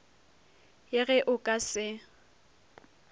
ye ge o ka se